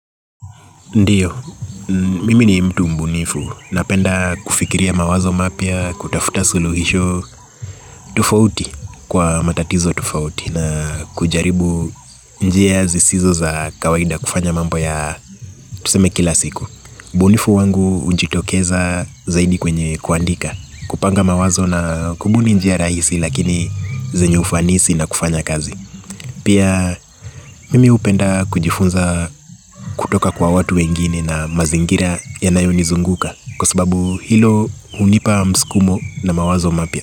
Ndiyo, mimi ni mtu mbunifu. Napenda kufikiria mawazo mapya, kutafuta suluhisho, tufauti kwa matatizo tufauti na kujaribu njia zisizo za kawaida kufanya mambo ya tuseme kila siku. Mbunifu wangu hujitokeza zaidi kwenye kuandika, kupanga mawazo na kubuni njia rahisi lakini zenye ufanisi na kufanya kazi. Pia mimi hupenda kujifunza kutoka kwa watu wengine na mazingira yanayonizunguka kwa sababu hilo unipa mskumo na mawazo mapya.